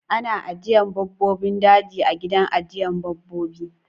Ana ajjiye babbobin daji a gidan ajjiyar babbobi